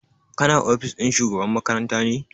Kana ofis ɗin shugaba makaranta ne?